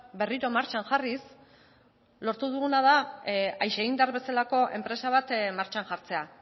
berriro martxan jarriz lortu duguna da aixeindar bezalako enpresa bat martxan jartzea